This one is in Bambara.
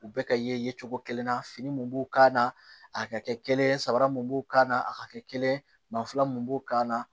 U bɛ ka ye cogo kelen na fini mun b'o k'a na a ka kɛ kelen ye sabara mun b'o kan na a ka kɛ kelen ye maafa mun b'o kan na